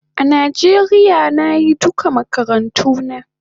A Nijeria nayi duka makarantuna